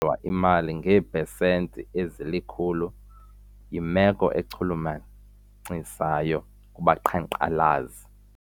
lwa imali ngeepesenti ezilikhulu yimelo echulumachisayo kubaqhankqalazi.